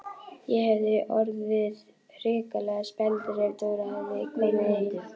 Ég hefði orðið hrikalega spældur ef Dóra hefði komið ein!